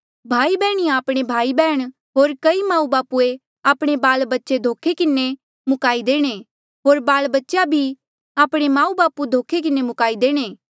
भाईयाबैहणीया आपणे भाई बैहण होर कई माऊबापू आपणे बाल बच्चे धोखे किन्हें मुकाई देणे होर बाल बच्चेया भी आपणे माऊबापू धोखे किन्हें मुकाई देणे